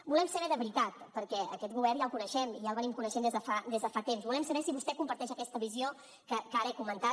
volem saber de veritat perquè aquest govern ja el coneixem ja l’estem coneixent des de fa temps volem saber si vostè comparteix aquesta visió que ara he comentat